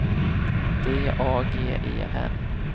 D A G E N